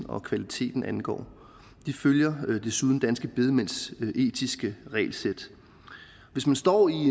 og kvalitet angår de følger desuden danske bedemænds etiske regelsæt hvis man står i